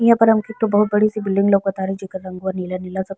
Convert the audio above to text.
इहाँ पर हमके त बहुत बड़े सी बिल्डिंग लउकत तारे जेकर रंग नीला-नीला सा --